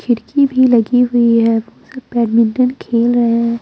खिड़की भी लगी हुई हैऔर सब बैडमिंटन खेल रहे हैं।